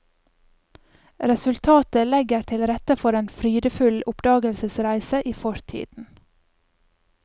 Resultatet legger til rette for en frydefull oppdagelsesreise i fortiden.